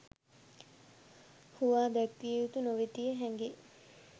හුවා දැක්විය යුතු නොවෙතියි හැඟේ